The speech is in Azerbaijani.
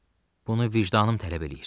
Bunu vicdanım tələb eləyir.